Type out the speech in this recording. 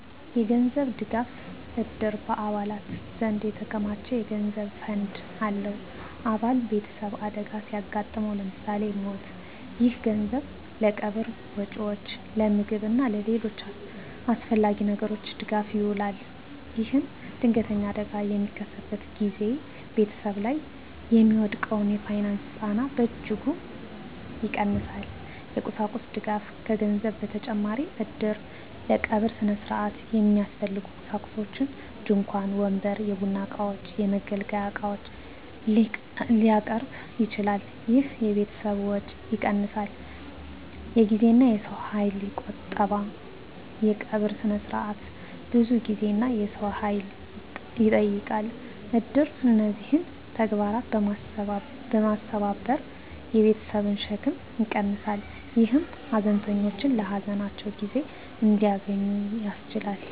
የገንዘብ ድጋፍ: እድር በአባላት ዘንድ የተከማቸ የገንዘብ ፈንድ አለው። አባል ቤተሰብ አደጋ ሲያጋጥመው (ለምሳሌ ሞት)፣ ይህ ገንዘብ ለቀብር ወጪዎች፣ ለምግብ እና ለሌሎች አስፈላጊ ነገሮች ድጋፍ ይውላል። ይህም ድንገተኛ አደጋ በሚከሰትበት ጊዜ ቤተሰብ ላይ የሚወድቀውን የፋይናንስ ጫና በእጅጉ ይቀንሳል። የቁሳቁስ ድጋፍ: ከገንዘብ በተጨማሪ እድር ለቀብር ሥነ ሥርዓት የሚያስፈልጉ ቁሳቁሶችን (ድንኳን፣ ወንበር፣ የቡና እቃዎች፣ የመገልገያ ዕቃዎች) ሊያቀርብ ይችላል። ይህ የቤተሰብን ወጪ ይቀንሳል። የጊዜና የሰው ኃይል ቁጠባ: የቀብር ሥነ ሥርዓት ብዙ ጊዜና የሰው ኃይል ይጠይቃል። እድር እነዚህን ተግባራት በማስተባበር የቤተሰብን ሸክም ይቀንሳል፣ ይህም ሀዘንተኞች ለሀዘናቸው ጊዜ እንዲያገኙ ያስችላል።